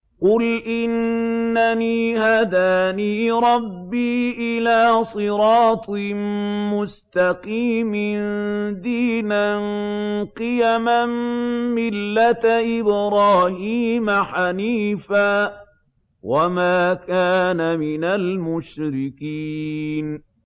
قُلْ إِنَّنِي هَدَانِي رَبِّي إِلَىٰ صِرَاطٍ مُّسْتَقِيمٍ دِينًا قِيَمًا مِّلَّةَ إِبْرَاهِيمَ حَنِيفًا ۚ وَمَا كَانَ مِنَ الْمُشْرِكِينَ